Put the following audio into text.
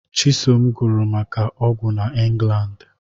Chisom gụrụ maka ọgwụ na England